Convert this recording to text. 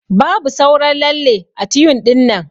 Babu sauran lalle ã tyun dinnan.